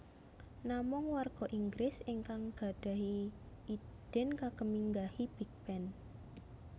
Namung warga Inggris ingkang gadhahi idin kagem minggahi Big Ben